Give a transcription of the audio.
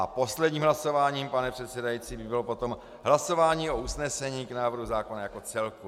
A posledním hlasováním, pane předsedající, by bylo potom hlasování o usnesení k návrhu zákona jako celku.